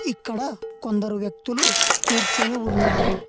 ఇక్కడ కొందరు వ్యక్తులు కూర్చుని ఉన్నారు.